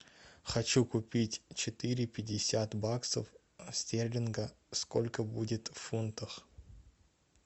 хочу купить четыре пятьдесят баксов стерлинга сколько будет в фунтах